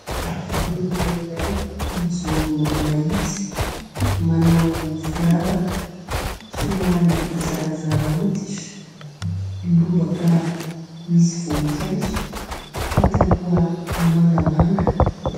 Lehilahy iray mijoro mahitsy manao firavaka, somary zarazara hoditra, lobaka misy voninkazo pataloha mangamanga